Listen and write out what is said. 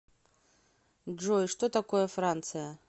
джой что такое франция